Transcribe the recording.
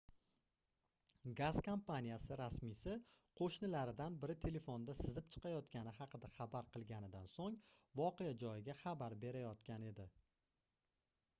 gaz kompaniyasi rasmiysi qoʻshnilaridan biri telefonda sizib chiqayotgani haqida xabar qilganidan soʻng voqea joyiga xabar berayotgan edi